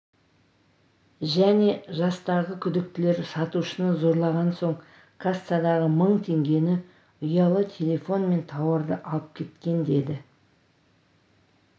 және жастағы күдіктілер сатушыны зорлаған соң кассадағы мың теңгені ұялы телефон мен тауарды алып кеткен деді